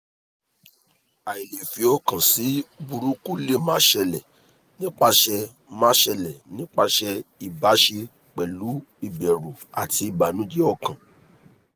ailefiokan si buruku le ma sele nipase ma sele nipase ibase pelu iberu ati ibanuje okan